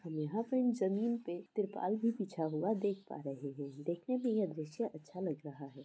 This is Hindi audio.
हम यहाँ पर जमीन पर ट्रिपल भी पूछा हुआ देख पा रहे है देखने में यह दृश्य अच्छा लग रहा है।